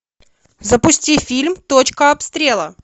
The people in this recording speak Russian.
запусти фильм точка обстрела